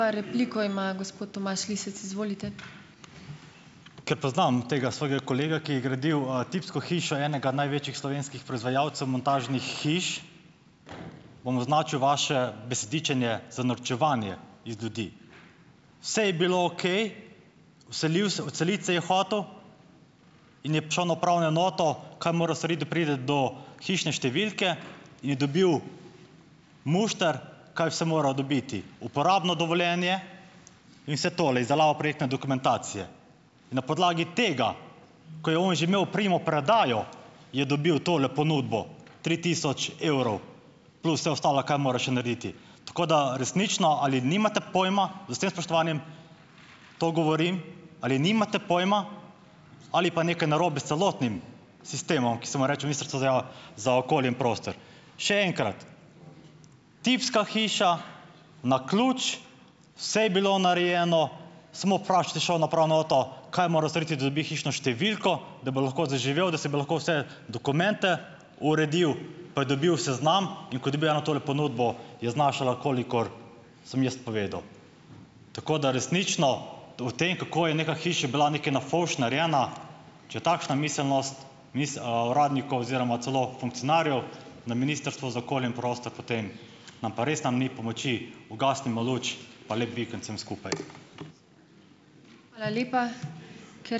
Ker poznam tega svojega kolega, ki je gradil, tipsko hišo enega največjih slovenskih proizvajalcev montažnih hiš, bom označil vaše besedičenje za norčevanje iz ljudi. Vse je bilo okej, vselil se - odseliti se je hotel - in je prišel na upravno enoto, kaj mora storiti, da pride do hišne številke - je dobil mušter, kaj vse mora dobiti. Uporabno dovoljenje in vse tole, izdelava projektne dokumentacije. In na podlagi tega, ko je on že imel primopredajo, je dobil tole ponudbo. Tri tisoč evrov plus vse ostalo, kar mora še narediti. Tako da resnično - ali nimate pojma, z vsem spoštovanjem to govorim - ali nimate pojma ali pa nekaj narobe s celotnim sistemom, ki se mu reče Ministrstvo za za okolje in prostor. Še enkrat - tipska hiša, na ključ, vse je bilo narejeno, samo vprašat je šel na upravno enoto, kaj mora storiti, da dobi hišno številko, da bo lahko zaživel, da si bo lahko vse dokumente uredil, pa je dobil seznam, in ko je dobil eno tole ponudbo, je znašala, kolikor sem jaz povedal. Tako da - resnično. To tem, kako je neka hiša bila nekaj na fovš narejena - če takšna miselnost uradnikov oziroma celo funkcionarjev na Ministrstvu za okolje in prostor, potem nam pa res tam ni pomoči. Ugasnimo luč pa lep vikend vsem skupaj.